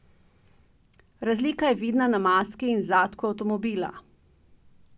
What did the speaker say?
Razlika je vidna na maski in zadku avtomobila.